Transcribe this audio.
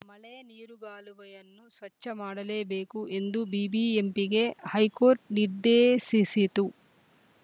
ಮಳೆನೀರುಗಾಲುವೆಯನ್ನು ಸ್ವಚ್ಛ ಮಾಡಲೇಬೇಕು ಎಂದು ಬಿಬಿಎಂಪಿಗೆ ಹೈಕೋರ್ಟ್‌ ನಿರ್ದೇಶಿಸಿತು